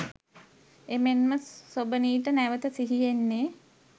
එමෙන්ම සොබනීට නැවත සිහි එන්නේ